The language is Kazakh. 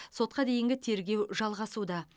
сотқа дейінгі тергеу жалғасуда